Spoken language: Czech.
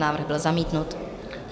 Návrh byl zamítnut.